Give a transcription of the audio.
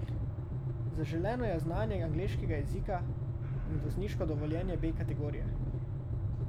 Zaželeno je znanje angleškega jezika in vozniško dovoljenje B kategorije.